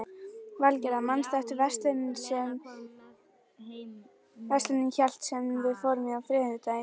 Valgerða, manstu hvað verslunin hét sem við fórum í á þriðjudaginn?